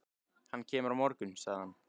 Hann kemur á morgun, sagði hann.